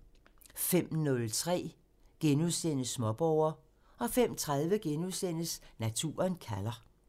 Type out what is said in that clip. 05:03: Småborger *(tir) 05:30: Naturen kalder *(tir)